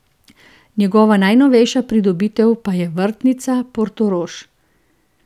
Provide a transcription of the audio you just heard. Njegova najnovejša pridobitev pa je vrtnica Portorož.